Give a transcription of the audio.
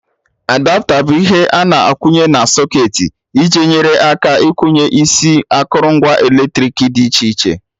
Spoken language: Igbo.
Adapta bụ ihe a na-akwụnye na socketị iji nyere aka ikwụnye isi akụrụngwa eletrik dị iche iche